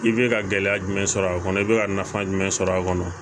I bɛ ka gɛlɛya jumɛn sɔrɔ a kɔnɔ i bɛ ka nafa jumɛn sɔrɔ a kɔnɔ